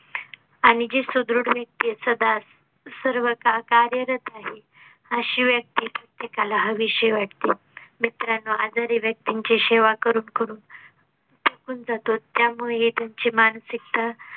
आणि जी सुदृढ व्यक्ती ए सदा सर्वकाळ कार्यरत आहे अशी व्यक्ती प्रत्येकाला हवीशी वाटते. मित्रांनो आजारी व्यक्तींची शेवा करून करून थकून जातो त्यामुळे त्यांची मानसिकता.